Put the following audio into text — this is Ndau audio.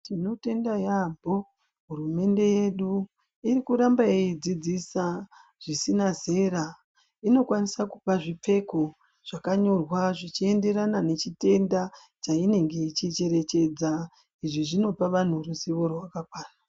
Tinotenda yambo hurumende yedu irikuramba yeidzidzisa zvisina zera inokwanisa kupa zvipfeko zvakanyorwa zvichienderana nechitenda chainenge ichicherechedza izvi zvinopa vantu ruzivo rwakakwana.